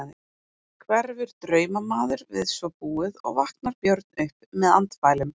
Hverfur draumamaður við svo búið og vaknar Björn upp með andfælum.